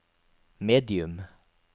medium